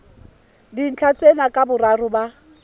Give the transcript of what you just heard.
dintlha tsena ka boraro ba